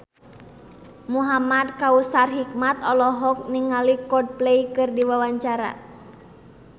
Muhamad Kautsar Hikmat olohok ningali Coldplay keur diwawancara